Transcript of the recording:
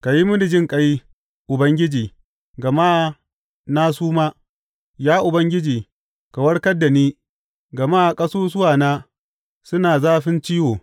Ka yi mini jinƙai, Ubangiji, gama na suma; Ya Ubangiji, ka warkar da ni, gama ƙasusuwana suna zafin ciwo.